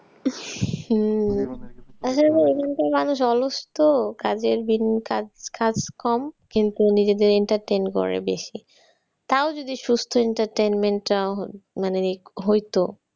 হম আসলে এখানকার মানুষ অলস তো কাজের দিন কাজ কম কিন্তু নিজেদের entertain করে বেশি। তাও যদি সুস্থ entertainment চাওয়া হয়, মানে হইতো।